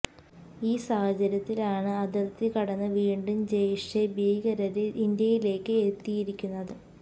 ഈ സാഹചര്യത്തിലാണ് അതിര്ത്തി കടന്ന് വീണ്ടും ജയ്ഷെ ഭീകരര് ഇന്ത്യയിലേക്ക് എത്തിയിരിക്കുന്നത്